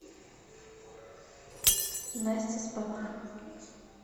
настя с папой